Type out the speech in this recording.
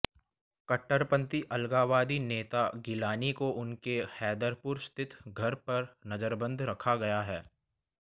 कट्टरपंथी अलगाववादी नेता गिलानी को उनके हैदरपुरा स्थित घर पर नजरबंद रखा गया है